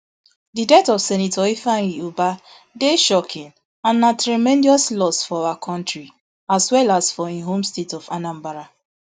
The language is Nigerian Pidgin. di death of senator ifeanyi ubah dey shocking and na tremendous loss for our kontri as well as for im home state of anambra